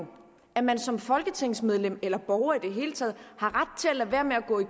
at man som folketingsmedlem eller som borger i det hele taget har ret til at lade være med at gå i